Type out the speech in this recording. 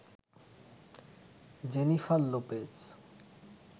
Jennifer Lopez